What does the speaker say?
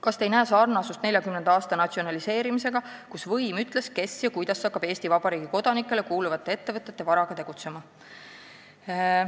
Kas te ei näe sarnasust 1940. aasta natsionaliseerimisega, kus võim ütles, kes ja kuidas hakkab Eesti Vabariigi kodanikele kuuluvate ettevõtete varaga tegutsema?